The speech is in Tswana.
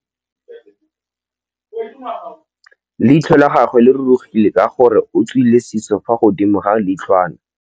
Leitlhô la gagwe le rurugile ka gore o tswile sisô fa godimo ga leitlhwana.